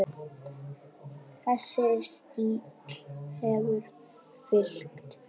Þessi stíll hefur fylgt mér.